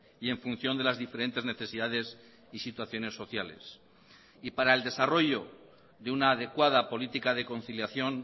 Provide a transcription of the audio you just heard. y en función de las diferentes necesidades y situaciones sociales y para el desarrollo de una adecuada política de conciliación